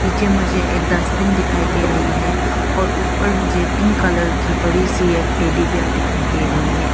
नीचे मुझे एक डस्टबिन दिखाई दे रही है और ऊपर मुझे पिंक कलर की बड़ी सी एक टेडीबेयर दिखाई दे रही हैं।